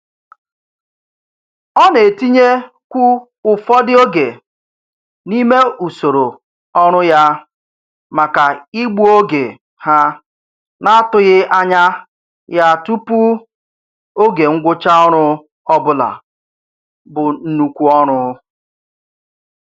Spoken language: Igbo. Ọ na-etinyekwu ụfọdụ oge n'ime usoro ọrụ ya maka igbu oge ha n'atụghị anya ya tụpụ oge ngwụcha ọrụ ọbụla bu nnukwu ọrụ.